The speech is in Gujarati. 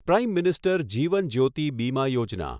prime minister Jeevan Jyoti Bima Yojana